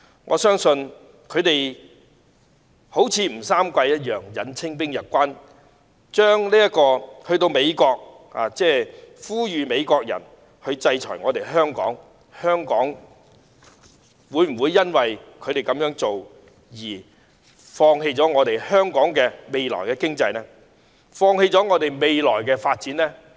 我相信他們現時就像吳三桂引清兵入關般，前往美國呼籲美國制裁香港，但香港會否因為他們這樣做便放棄自己的經濟，放棄未來的發展呢？